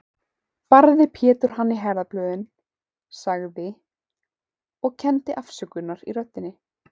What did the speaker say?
Barði Pétur hann í herðablöðin, sagði, og kenndi afsökunar í röddinni